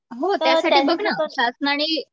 हो त्यासाठी बघ ना शासनाने